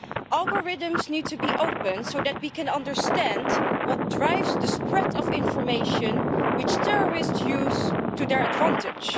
Algorithms need to be open so that we can understand what drives the spread of information which terrorists use to their advantage.